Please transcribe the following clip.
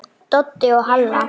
Doddi og Halla!